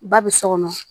Ba bɛ so kɔnɔ